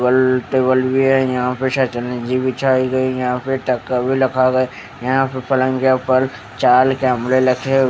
table table भी है या पे सतरंजी बिछाई गई है यहां पे चक्का भी रखा गया है यहां पलंग्या के ऊपर चाल कैमरे लगे--